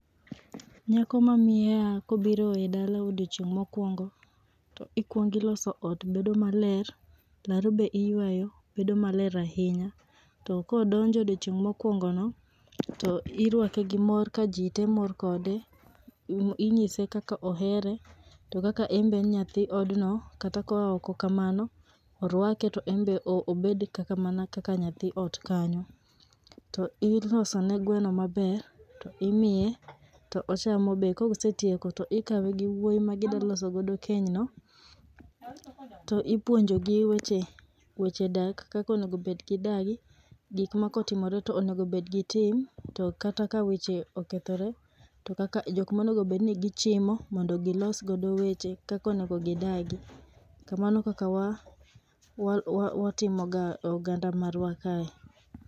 Nyako ma miaha kobiro e dalau e odiechieng' mokuongo, to ikuongo tiloso ot bedo maler, laro be iyueyo bedo maler ahinya. To kodonjo odiechieng' mokuongo no, to iruake gi mor kajite mor kode, inyise kaka ohere to kaka en be en nyathi odno kata ka oa oko kamano, oruake to en be obed mana kaka nyathi ot kanyo. To ilosone gweno maber, imiye to ochamo be kosetieko to ikawe gi wuoyi ma gidwa loso godo keny no. To ipuonjogi weche weche dak kaka onego bed gi dagi, gik makotimore to onego bed gi tim, to kata ka weche okethore jok monego bed ni gichimo mondo kaka onego gidagi. Mano e kaka watimoga oganda wa kaye.